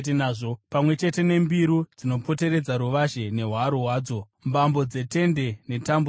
pamwe chete nembiru dzinopoteredza ruvazhe nehwaro hwadzo, mbambo dzetende netambo dzadzo.